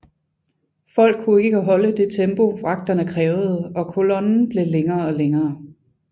Folk kunne ikke holde det tempo vagterne krævede og kollonen blev længere og længere